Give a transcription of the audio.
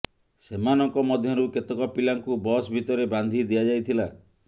ସେମାନଙ୍କ ମଧ୍ୟରୁ କେତେକ ପିଲାଙ୍କୁ ବସ୍ ଭିତରେ ବାନ୍ଧି ଦିଆଯାଇଥିଲା